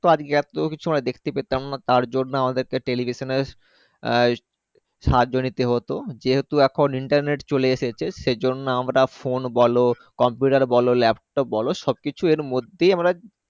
এত কিছু আমরা দেখতে পেতাম না তারজন্য আমাদের টেলিভিশনের আহ সাহায্যে নিতে হতো যেহেতু এখন internet চলে এসেছে সেই জন্য আমরা Phone বলো Computer বলো Laptop বলো সবকিছু এর মধ্যে আমরা।